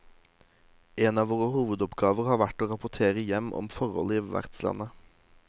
En av våre hovedoppgaver har vært å rapportere hjem om forhold i vertslandet.